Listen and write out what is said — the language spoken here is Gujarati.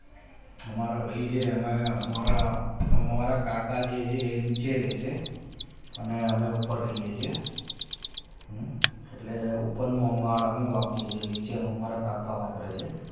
અમારા ભાઈ છે એમાં અમારા હામે વાળા કાકા જે છે એ નીચે રહેશે અને અમે ઉપર રહીએ છીએ એટલે ઉપરનું માળ અમે વાપરીએ છીએ અને નીચેનું અમારા કાકા વાપરે છે.